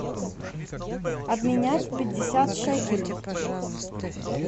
обменять пятьдесят шекелей